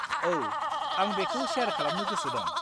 औ, आं बेखौ सेयार खालामनो गोसो दं।